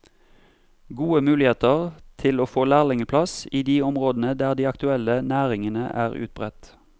Gode muligheter til å få lærlingeplass i de områdene der de aktuelle næringene er utbredt.